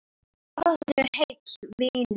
Farðu heill, vinur.